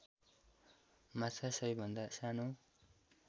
माछा सबैभन्दा सानो